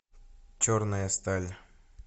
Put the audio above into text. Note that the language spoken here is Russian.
черная сталь